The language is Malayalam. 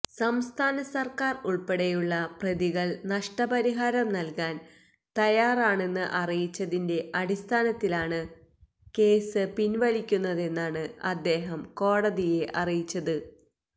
സംസ്ഥാന സര്ക്കാര് ഉള്പ്പെടെയുള്ള പ്രതികള് നഷ്ടപരിഹാരം നല്കാന് തയ്യാറാണെന്ന് അറിയിച്ചതിന്റെ അടിസ്ഥാനത്തിലാണ് കേസ് പിന്വലിക്കുന്നതെന്നാണ് അദ്ദേഹം കോടതിയെ അറിയിച്ചത്